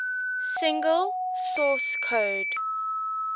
single source code